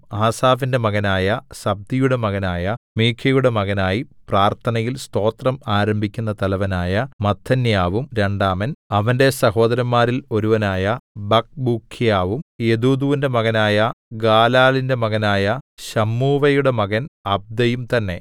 ആസാഫിന്റെ മകനായ സബ്ദിയുടെ മകനായ മീഖയുടെ മകനായി പ്രാർത്ഥനയിൽ സ്തോത്രം ആരംഭിക്കുന്ന തലവനായ മത്ഥന്യാവും രണ്ടാമൻ അവന്റെ സഹോദരന്മാരിൽ ഒരുവനായ ബക്ക്ബൂക്ക്യാവും യെദൂഥൂന്റെ മകനായ ഗാലാലിന്റെ മകനായ ശമ്മൂവയുടെ മകൻ അബ്ദയും തന്നേ